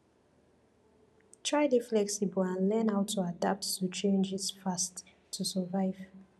try dey flexible and learn how to adapt to changes fast to survive